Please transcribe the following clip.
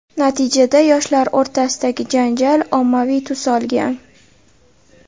Natijada, yoshlar o‘rtasidagi janjal ommaviy tus olgan.